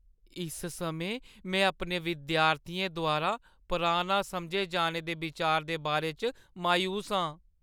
इस समें, में अपने विद्यार्थियें द्वारा पराना समझे जाने दे बिचार दे बारे च मायूस आं।